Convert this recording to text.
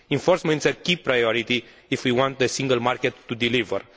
Enforcement is a key priority if we want the single market to deliver.